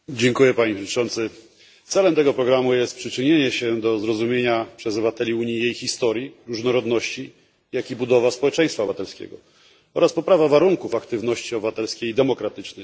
Panie Przewodniczący! Celem tego programu jest przyczynienie się do zrozumienia przez obywateli Unii jej historii, różnorodności, jak i budowa społeczeństwa obywatelskiego oraz poprawa warunków aktywności obywatelskiej i demokratycznej.